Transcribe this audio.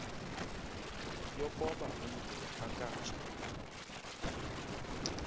yokoba umntu akatsha